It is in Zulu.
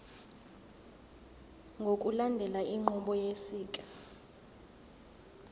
ngokulandela inqubo yosiko